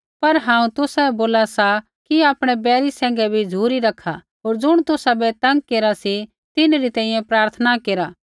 पर हांऊँ तुसाबै बोला सा कि आपणै बैरी सैंघै भी झ़ुरी रखा होर ज़ुणा तुसाबै तंग केरा सी तिन्हरी तैंईंयैं प्रार्थना केरा